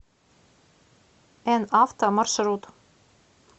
эн авто маршрут